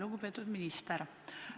Lugupeetud minister!